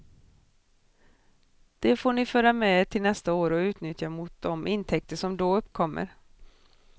Det får ni föra med er till nästa år och utnyttja mot de intäkter som då uppkommer.